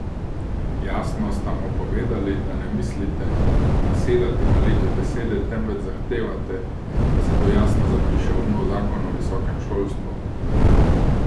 Jasno sta mu povedali, da ne mislite nasedati na lepe besede, temveč zahtevate, da se to jasno zapiše v nov zakon o visokem šolstvu?